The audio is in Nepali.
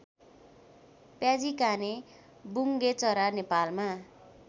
प्याजीकाने बुङ्गेचरा नेपालमा